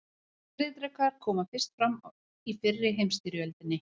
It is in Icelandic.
Skriðdrekar komu fyrst fram í fyrri heimsstyrjöldinni.